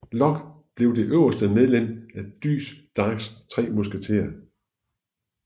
Lock bliver det øverste medlem af Dys Darks tre musketerer